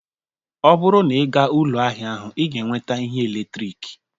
Ọ bụrụ na ịga ụlọ ahịa ahụ, ị ​​ga-enweta ihe eletrik